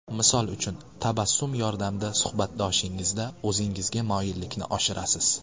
Misol uchun, tabassum yordamida suhbatdoshingizda o‘zingizga moyillikni oshirasiz.